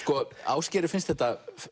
Ásgeiri finnst þetta